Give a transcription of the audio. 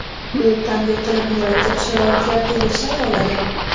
U qanday qilib murakkab sharoitlarda yashay oladi ?